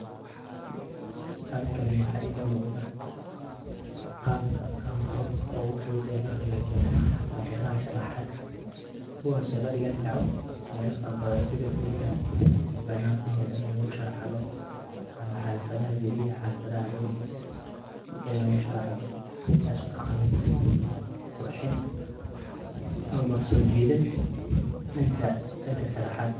Halkani waxa iga muqdah Qabka amah Qabka ugu futhut lohakajiyoh kuwasi ladekani karoh meelaha farabathan sitha kuriyaha, bananka lagu shacdoh amah kuriyaha xaldatha lagu deegtoh ini lagu sharaxdoh kacawineysah qorxin amah sojeethen ninka danga sharaxatka.